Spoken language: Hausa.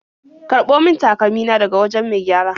Karɓo min takalmi na daga wajen mai gyara.